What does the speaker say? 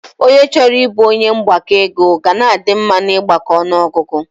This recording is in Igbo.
Ọnye chọrọ ịbụ onye mgbakọ ego ga a dị mma na ịgbako ọnụọgụgụ